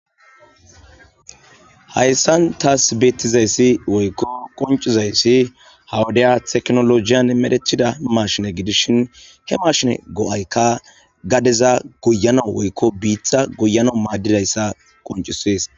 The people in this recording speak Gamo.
hayssan taas beetizayssi woykko qoncizayssi hawudeya teknolojiyan medhechida mashine gidishin he mashine go7aykka gadeza guyana woykko biitha guyana maaddidayssa qoncisees